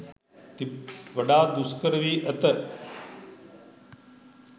වඩාත් දුෂ්කර වී ඇත.